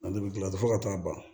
Ale bɛ dilan fo ka taa ban